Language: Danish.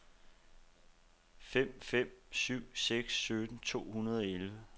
fem fem syv seks sytten to hundrede og elleve